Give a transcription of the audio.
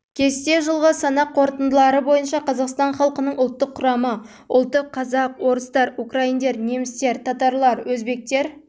кесте жылғы санақ қорытындылары бойынша қазақстан халқының ұлттық құрамы ұлты қазақтар орыстар украиндар немістер татарлар өзбектер